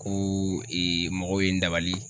Ko mɔgɔw ye n dabali